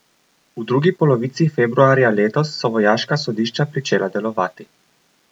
V drugi polovici februarja letos so vojaška sodišča pričela delovati.